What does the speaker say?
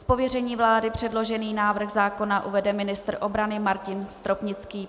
Z pověření vlády předložený návrh zákona uvede ministr obrany Martin Stropnický.